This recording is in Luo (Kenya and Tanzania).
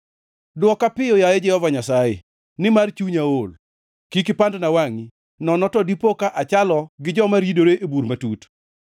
Dwoka piyo, yaye Jehova Nyasaye, nimar chunya ool. Kik ipandna wangʼi nono to dipoka achalo gi joma ridore e bur matut.